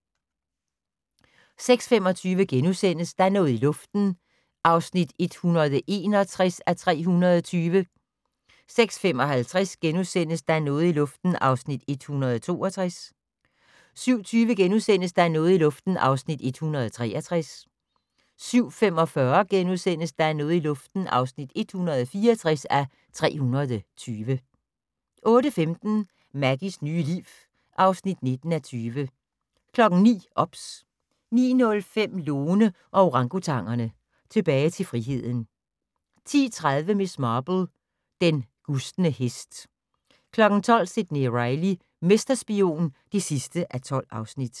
05:10: Water Rats (35:177) 06:25: Der er noget i luften (161:320)* 06:55: Der er noget i luften (162:320)* 07:20: Der er noget i luften (163:320)* 07:45: Der er noget i luften (164:320)* 08:15: Maggies nye liv (19:20) 09:00: OBS 09:05: Lone og orangutangerne - Tilbage til friheden 10:30: Miss Marple: Den gustne hest 12:00: Sidney Reilly - mesterspion (12:12)